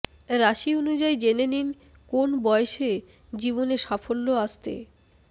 রাশি অনুযায়ী জেনে নিন কোন বয়সে জীবনে সাফল্য আসতে